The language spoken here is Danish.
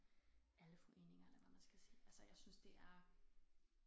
Alle foreninger eller hvad man skal sige altså jeg synes det er